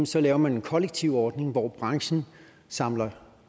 så laver man en kollektiv ordning hvor branchen samler